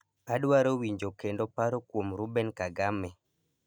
Adwaro winjo kendo paro kuom Ruben Kagame